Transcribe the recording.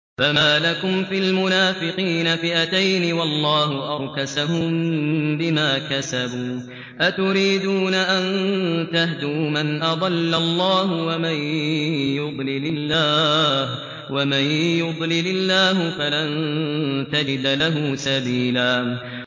۞ فَمَا لَكُمْ فِي الْمُنَافِقِينَ فِئَتَيْنِ وَاللَّهُ أَرْكَسَهُم بِمَا كَسَبُوا ۚ أَتُرِيدُونَ أَن تَهْدُوا مَنْ أَضَلَّ اللَّهُ ۖ وَمَن يُضْلِلِ اللَّهُ فَلَن تَجِدَ لَهُ سَبِيلًا